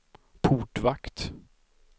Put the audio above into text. portvakt